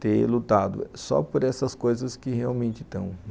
ter lutado só por essas coisas que realmente estão.